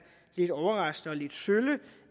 lidt overraskende og lidt sølle